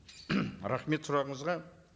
рахмет сұрағыңызға